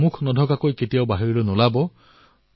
face cover অবিহনে বাহিৰলৈ নাযাব